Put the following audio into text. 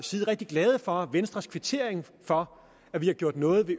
side rigtig glade for venstres kvittering for at vi har gjort noget i